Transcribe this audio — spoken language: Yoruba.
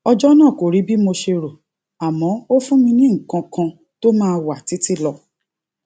ọjó náà kò rí bí mo ṣe rò àmó ó fún mi ní nǹkan kan tó máa wà títí lọ